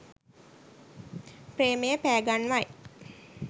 ප්‍රේමය පෑ ගන්වයි